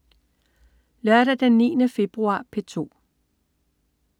Lørdag den 9. februar - P2: